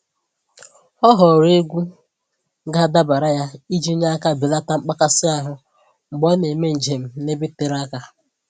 Ọ họọrọ egwu ga-adabara ya iji nye aka belata mkpakasị ahụ mgbe ọ na-eme njem n'ebe tere aka.